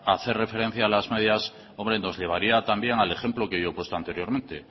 hacer referencia a las medias hombre nos llevaría también al ejemplo que yo he puesto anteriormente